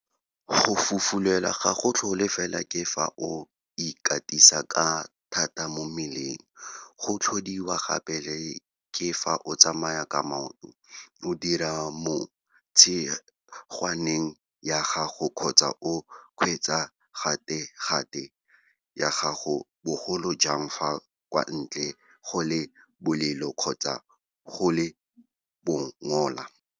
Go fufulelwa ga go tlhole fela ke fa o ikatisa ka thata mo mmeleng, go tlhodiwa gape le ke fa o tsamaya ka maoto, o dira mo tshingwaneng ya gago kgotsa o kgweetsa gategate ya gago, bogolo jang fa kwa ntle go le bolelo kgotsa go le bongola.